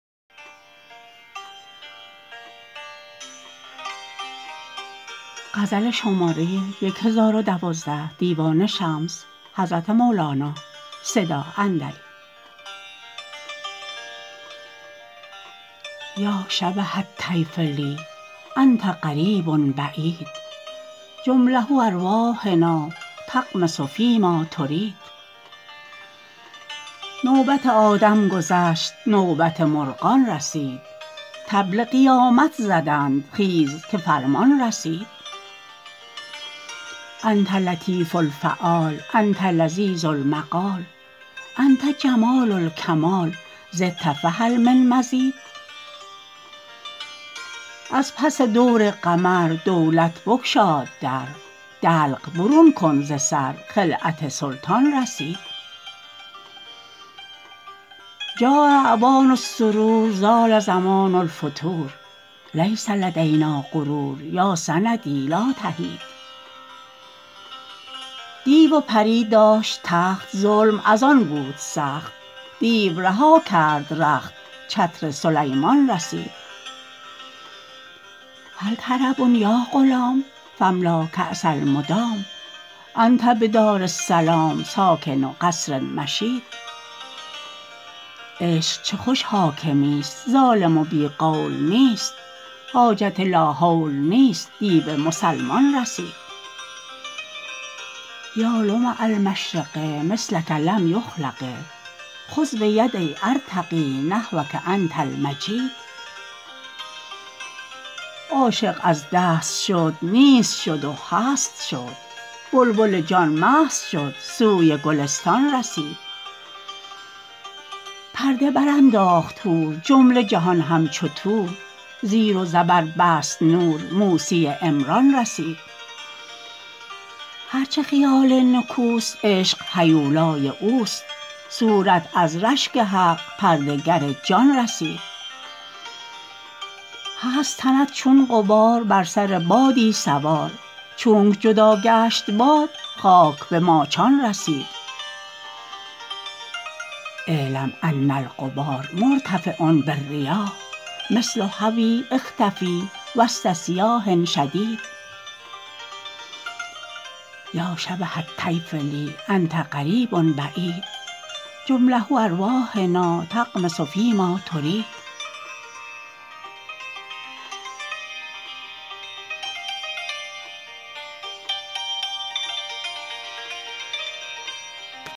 یا شبه الطیف لی انت قریب بعید جمله ارواحنا تغمس فیما ترید نوبت آدم گذشت نوبت مرغان رسید طبل قیامت زدند خیز که فرمان رسید انت لطیف الفعال انت لذیذ المقال انت جمال الکمال زدت فهل من مزید از پس دور قمر دولت بگشاد در دلق برون کن ز سر خلعت سلطان رسید جاء اوان السرور زال زمان الفتور لیس لدنیا غرور یا سندی لا تحید دیو و پری داشت تخت ظلم از آن بود سخت دیو رها کرد رخت چتر سلیمان رسید هل طرب یا غلام فاملا کاس المدام انت بدار السلام ساکن قصر مشید عشق چه خوش حاکمیست ظالم و بی قول نیست حاجت لاحول نیست دیو مسلمان رسید یا لمع المشرق مثلک لم یخلق خذ بیدی ارتقی نحوک انت المجید عاشق از دست شد نیست شد و هست شد بلبل جان مست شد سوی گلستان رسید پرده برانداخت حور جمله جهان همچو طور زیر و زبر بست نور موسی عمران رسید هر چه خیال نکوست عشق هیولای اوست صورت از رشک حق پرده گر جان رسید هست تنت چون غبار بر سر بادی سوار چونک جدا گشت باد خاک به ماچان رسید اعلم ان الغبار مرتفع بالریاح مثل هوی اختفی وسط صیاح شدید